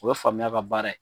U bɛ faamuya ka baara ye.